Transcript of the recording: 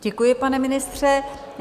Děkuji, pane ministře.